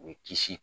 U bɛ kisi